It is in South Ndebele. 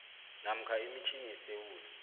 namkha emitjhini yesewula